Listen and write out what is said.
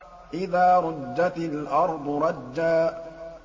إِذَا رُجَّتِ الْأَرْضُ رَجًّا